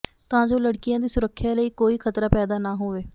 ਤਾਂ ਜੋ ਲੜਕੀਆਂ ਦੀ ਸੁਰੱਖਿਆ ਲਈ ਕੋਈ ਖ਼ਤਰਾ ਪੈਦਾ ਨਾ ਹੋਵੇ